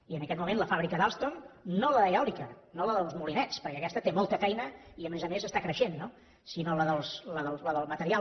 i en aquest moment la fàbrica d’alstom no l’eòlica no la dels molinets perquè aquesta té molta feina i a més a més està creixent no sinó la del material